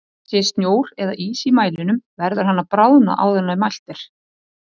Sé snjór eða ís í mælinum verður hann að bráðna áður en mælt er.